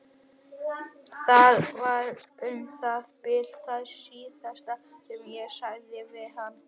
Það var um það bil það síðasta sem ég sagði við hann.